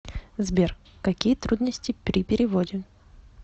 сбер какие трудности при переводе